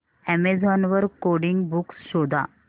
Amazon वर coding books शोधा